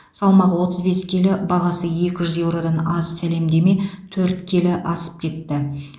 салмағы отыз бес келі бағасы екі жүз еуродан аз сәлемдеме төрт келі асып кетті